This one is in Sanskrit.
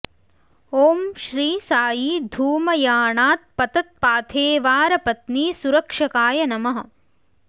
ॐ श्री साई धूमयानात् पतत्पाथेवार पत्नी सुरक्षकाय नमः